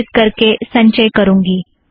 सुरक्षीत करके संचय करुँगी